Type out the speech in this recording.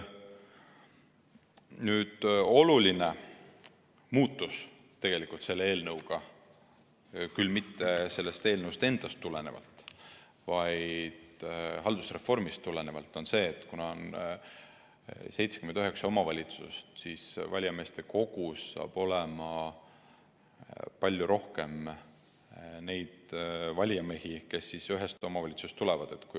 Oluline muudatus selle eelnõu puhul – küll mitte sellest eelnõust endast tulenevalt, vaid haldusreformist tulenevalt – on see, et kuna meil on 79 omavalitsust, siis valijameeste kogus saab olema palju rohkem neid valijamehi, kes ühest omavalitsusest tulevad.